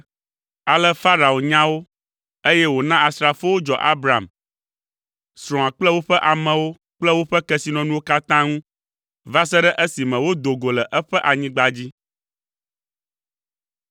Ale Farao nya wo, eye wòna asrafowo dzɔ Abram, srɔ̃a kple woƒe amewo kple woƒe kesinɔnuwo katã ŋu va se ɖe esime wodo go le eƒe anyigba dzi.